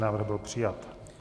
Návrh byl přijat.